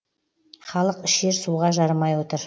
халық ішер суға жарымай отыр